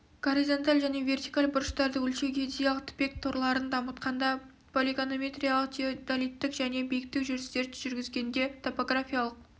горизонталь және вертикаль бұрыштарды өлшеу геодезиялық тіпек торларын дамытқанда полигонометриялық теодолиттік және биіктік жүрістерді жүргізгенде топографиялық